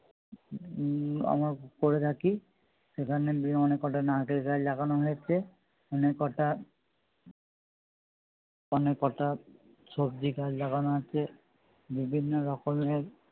উম আমরা করে থাকি সেখানে গিয়ে অনেক কটা নারকেল গাছ লাগানো হয়েছে অনেক কটা অনেক কটা সবজি গাছ লাগানো আছে বিভিন্ন রকমের